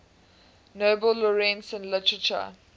nobel laureates in literature